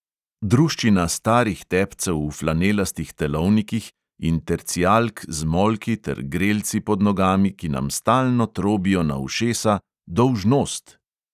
Druščina starih tepcev v flanelastih telovnikih in tercijalk z molki ter grelci pod nogami, ki nam stalno trobijo na ušesa: "dolžnost!"